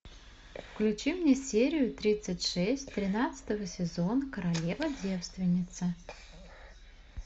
включи мне серию тридцать шесть тринадцатого сезона королева девственница